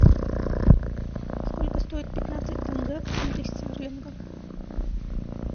сколько стоит пятнадцать тенге в фунтах стерлинга